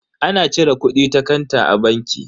Ana cire kudi ta kanta a banki.